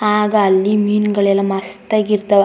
ಆಗ ಅಲ್ಲಿ ಮೀನ್ ಗಳೆಲ್ಲಾ ಮಸ್ತ್ ಆಗಿರತ್ವ್.